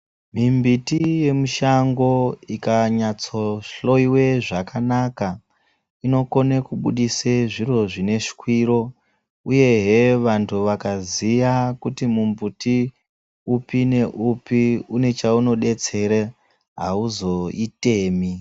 Mimbiti yemushango ikanyatso hloiwe zvakanaka inokone kubudise zviro zvineshwiro uyehe vanthu vakaziya kuti mumbuti upi neupi unechaunodetsera auzoitemi.